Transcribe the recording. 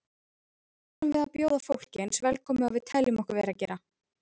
Erum við að bjóða fólk eins velkomið og við teljum okkur vera að gera?